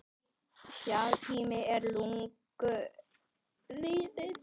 Sá tími er löngu liðinn.